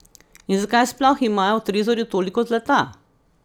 In zakaj sploh imajo v trezorju toliko zlata?